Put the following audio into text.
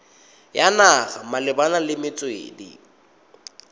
ya naga malebana le metswedi